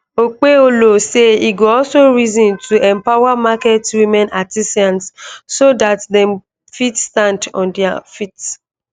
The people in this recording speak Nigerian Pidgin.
okpebholo say e go also reason to empower market women artisans so dat dem fit stand on dia feet